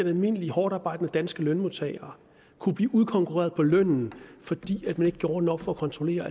at almindelige hårdtarbejdende danske lønmodtagere kunne blive udkonkurreret på lønnen fordi man ikke gjorde nok for at kontrollere